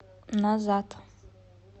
назад